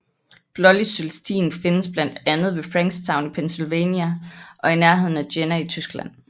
Blålig Cølestin findes blandt andet ved Frankstown i Pennsylvania og i nærheden af Jena i Tyskland